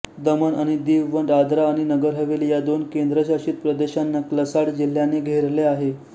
दमण आणि दीव व दादरा आणि नगरहवेली ह्या दोन केंद्रशासित प्रदेशांना वलसाड जिल्ह्याने घेरले आहे